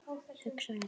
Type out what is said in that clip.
hugsar Edda.